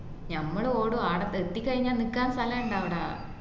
ഞമ്മളോടും ആട എത്തിക്കഴിഞ്ഞാൽ നിക്കാൻ സ്ഥല ഇണ്ട അവിടെ